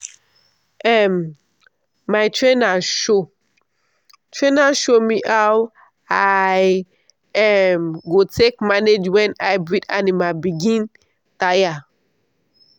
um my trainer show trainer show me how i um go take manage when hybrid animal begin tire.